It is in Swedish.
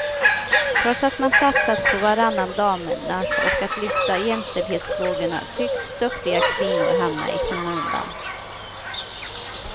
Trots att man satsat på varannan damernas och att lyfta jämställdhetsfrågorna tycks duktiga kvinnor hamna skymundan.